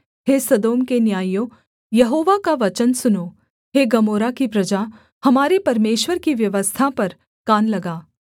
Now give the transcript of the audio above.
हे सदोम के न्यायियों यहोवा का वचन सुनो हे गमोरा की प्रजा हमारे परमेश्वर की व्यवस्था पर कान लगा